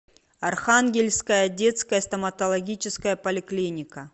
архангельская детская стоматологическая поликлиника